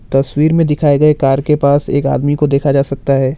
तस्वीर में दिखाए गए कार के पास एक आदमी को देखा जा सकता है।